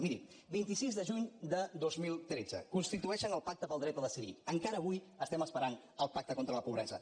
miri vint sis de juny de dos mil tretze constitueixen el pacte pel dret a decidir encara avui esperem el pacte contra la pobresa